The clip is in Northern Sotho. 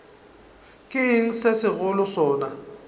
ke eng se segolo sona